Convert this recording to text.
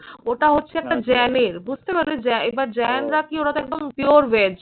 ওটা হচ্ছে একটা জেনের। বুঝতে পারলে জে এবার জেনরা কী ওরা তো একদম pure veg